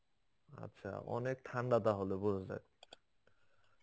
আচ্ছা অনেক ঠান্ডা তাহলে বোঝা যায়.